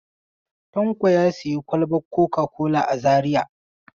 Tanko ya sayi kwalban coca-cola a Zariya.